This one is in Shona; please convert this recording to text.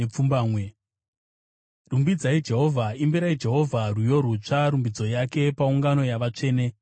Rumbidzai Jehovha. Imbirai Jehovha rwiyo rutsva, rumbidzo yake paungano yavatsvene.